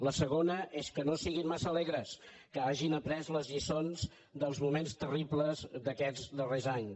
la segona és que no siguin massa alegres que hagin après les lliçons dels moments terribles d’aquests darrers anys